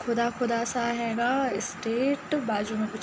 खुदा खुदा सा हैगा। स्टेट बाजु में कुछ --